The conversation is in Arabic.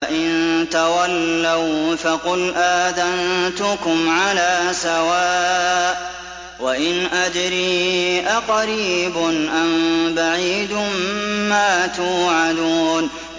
فَإِن تَوَلَّوْا فَقُلْ آذَنتُكُمْ عَلَىٰ سَوَاءٍ ۖ وَإِنْ أَدْرِي أَقَرِيبٌ أَم بَعِيدٌ مَّا تُوعَدُونَ